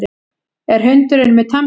Er hundurinn með tannpínu?